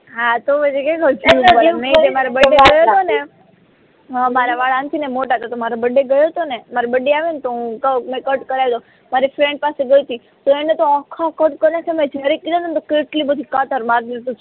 હા તો પછી મારા વાળ આં થી મોટા હતો ને તો મારો બર્થડે ગયો હતો ને મારો બર્થડે આવ્યો ને તો હું કું કે કટ કરાઈ દુ મારી એક ફ્રેન્ડ પાસે ગઈ તી તો એને તો આખા કટ કયા છે મે જયારે એટલી બધી કાતર માર દીધી